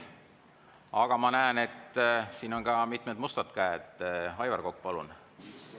Aga ma näen, et on ka mitmed musta käe.